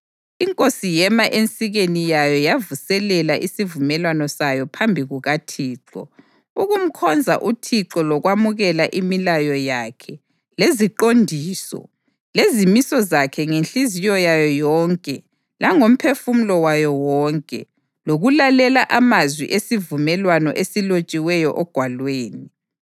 Inkosi yema ensikeni yayo yavuselela isivumelwano sayo phambi kukaThixo, ukumkhonza uThixo lokwamukela imilayo yakhe, leziqondiso, lezimiso zakhe ngenhliziyo yayo yonke langomphefumulo wayo wonke, lokulalela amazwi esivumelwano esilotshiweyo ogwalweni.